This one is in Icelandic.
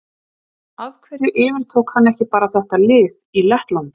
Af hverju yfirtók hann bara ekki lið í Lettlandi?